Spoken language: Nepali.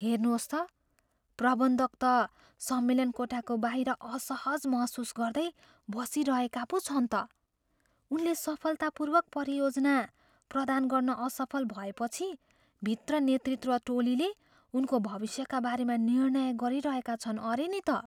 हेर्नुहोस् त, प्रबन्धक त सम्मेलन कोठाको बाहिर असहज महसुस गर्दै बसिरहेका पो छन् त। उनले सफलतापूर्वक परियोजना प्रदान गर्न असफल भएपछि भित्र नेतृत्व टोलीले उनको भविष्यका बारेमा निर्णय गरिरहेका छन् अरे नि त।